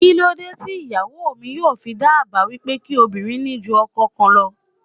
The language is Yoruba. Kíló dé tí ìyàwó mi yóò fi dá àbá wípé kí obìnrin ní ju ọkọ kan lọ?